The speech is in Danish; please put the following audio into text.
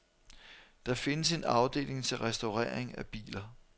Der findes en afdeling til restaurering af biler.